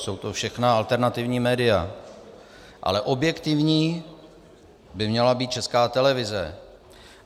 Jsou to všechna alternativní média, ale objektivní by měla být Česká televize.